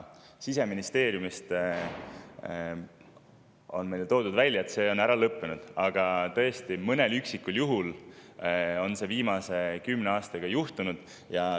Siseministeeriumist on meile, et see on ära lõppenud, aga tõesti, mõnel üksikul juhul on seda viimase kümne aasta jooksul juhtunud.